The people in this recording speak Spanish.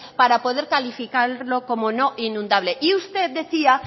para poder calificarlo como no inundable y usted decía